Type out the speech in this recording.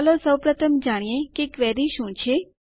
ચાલો સૌપ્રથમ જાણીએ ક્વેરી શું છે